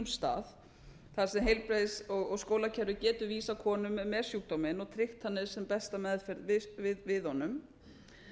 stað þar sem heilbrigðis og skólakerfið getur vísað konum með sjúkdóminn og tryggt þannig sem besta meðferð við honum